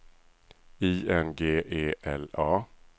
I N G E L A